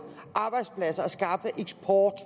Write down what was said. arbejdspladser og skaffe eksport